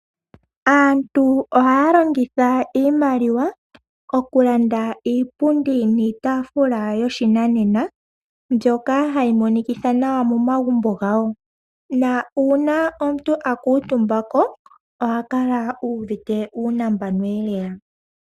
Aantu ohaya longitha iimaliwa okulanda iipundi niitaafula yoshinanena , mbyoka hayi monikitha nawa momagumbo gawo, na uuna omuntu akuutumbako ohakala uuvite nuunambanoelela.